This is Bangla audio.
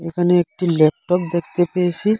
এখানে একটি ল্যাপটপ দেখতে পেয়েসি।